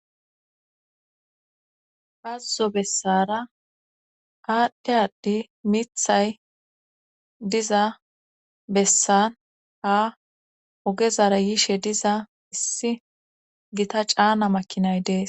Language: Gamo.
Hazuzo bessara aadhdhe addi mithay diza bessan ha ogezara yiishe diza issi gita caana makinay dees.